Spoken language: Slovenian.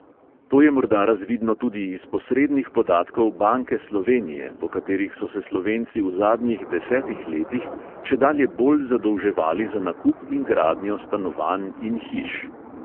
To je morda razvidno tudi iz posrednih podatkov banke slovenije, po katerih so se slovenci v zadnjih desetih letih čedalje bolj zadolževali za nakup in gradnjo stanovanj in hiš.